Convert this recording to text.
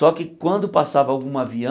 Só que quando passava algum